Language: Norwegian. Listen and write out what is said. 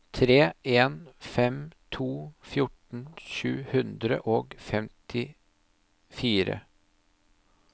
tre en fem to fjorten sju hundre og femtifire